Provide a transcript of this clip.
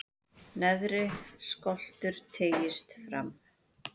neðri skoltur teygist fram